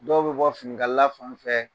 Dɔw bɛ bɔ finikalala fan fɛ.